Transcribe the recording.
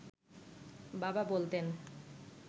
বাবা বলতেন